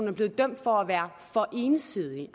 er blevet dømt for at være for ensidig